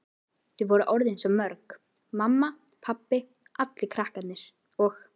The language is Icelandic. Þau voru orðin svo mörg, mamma, pabbi, allir krakkarnir og